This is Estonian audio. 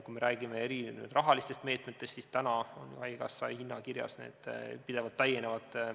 Kui me räägime rahalistest meetmetest, siis haigekassa hinnakirjas need pidevalt täienevad.